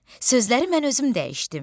Sözləri mən özüm dəyişdim.